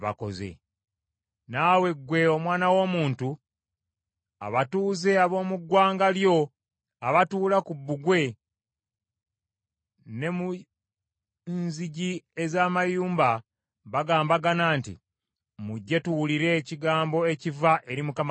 “Naawe ggwe omwana w’omuntu, abatuuze ab’omu ggwanga lyo abatuula ku Bbugwe ne mu nzigi ez’amayumba bagambagana nti, ‘Mujje tuwulire ekigambo ekiva eri Mukama Katonda,’